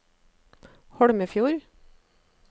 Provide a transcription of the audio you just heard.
Holmefjord